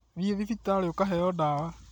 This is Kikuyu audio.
Thi thibitarĩ ũkaheo ndawa